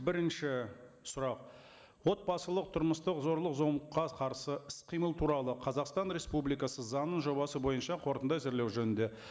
бірінші сұрақ отбасылық тұрмыстық зорлық зомбылыққа қарсы іс қимыл туралы қазақстан республикасы заңының жобасы бойынша қорытынды әзірлеу жөнінде